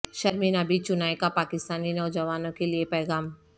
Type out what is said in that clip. شرمین عبید چنائے کا پاکستانی نوجوانوں کے لیے پیغام